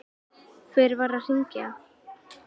Hver var að hringja?